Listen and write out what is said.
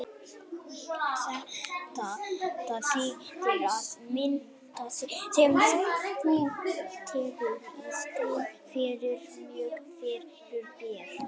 Þetta þýðir að myndin sem þú tekur er stillt fyrir björt fyrirbæri.